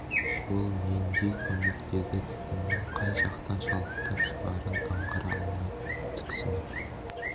ол нендей көмек деді түтіннің қай жақтан шалықтап шығарын аңғара алмай тіксініп